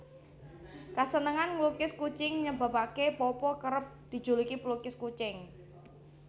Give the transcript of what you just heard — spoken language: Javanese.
Kasenengan nglukis kucing nyebabaké Popo kerep dijuluki pelukis kucing